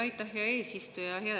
Aitäh, hea eesistuja!